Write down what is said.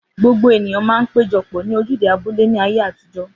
Gbogbo ènìyàn man péjopò ní ojúde abúlé ní ayé àtijó